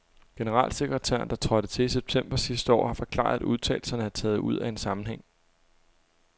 Generalsekretæren, der trådte til i september sidste år, har forklaret, at udtalelserne er taget ud af en sammenhæng.